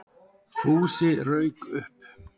Fúsi rauk upp.